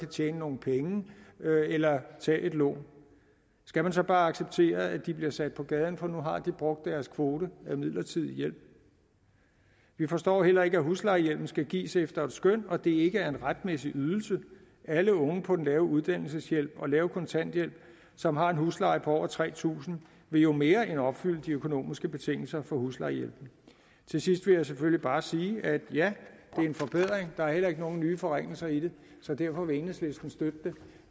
tjene nogle penge eller tage et lån skal man så bare acceptere at de bliver sat på gaden for nu har de brugt deres kvote for midlertidig hjælp vi forstår heller ikke at huslejehjælpen skal gives efter et skøn og at det ikke er en retmæssig ydelse alle unge på den lave uddannelsesydelse og lave kontanthjælp som har en husleje på over tre tusind vil jo mere end opfylde de økonomiske betingelser for huslejehjælpen til sidst vil jeg selvfølgelig bare sige at ja det er en forbedring der er heller ikke nogen nye forringelser i det så derfor vil enhedslisten støtte det